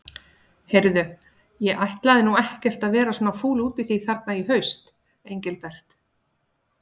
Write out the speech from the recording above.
Heyrðu. ég ætlaði nú ekkert að vera svona fúll við þig þarna í haust, Engilbert.